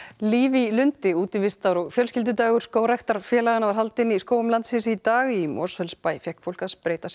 líf í lundi útivistar og fjölskyldudagur skógræktarfélaga var haldinn í skógum landsins í dag í Mosfellsbæ fékk fólk að spreyta sig